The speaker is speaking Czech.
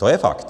To je fakt!